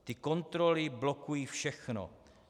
"Ty kontroly blokují všechno.